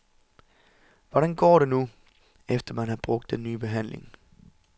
Hvordan går det nu, efter at man har brugt den nye behandling?